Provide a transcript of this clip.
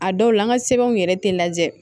A dɔw la an ka sɛbɛnw yɛrɛ tɛ lajɛ